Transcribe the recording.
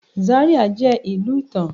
Zaria jẹ ilu itan